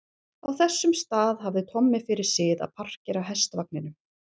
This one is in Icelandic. Á þessum stað hafði Tommi fyrir sið að parkera hestvagninum.